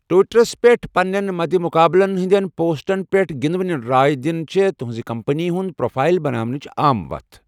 ٹُوِٹَرس پٮ۪ٹھ پنٛنیٚن مدِ مٖقابلن ہِنٛدین پوسٹن پیٹھ گِندوٕنہِ راے دِنہِ چھے٘ تٗہنزِ كمپنی ہٗند پروفایل بناونٕچہِ عام وتھ ۔